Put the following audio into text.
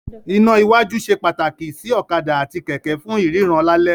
Iná iwájú ṣe pàtàkì sí ọ̀kadà àti kẹ̀kẹ́ fún ìríran lálẹ́.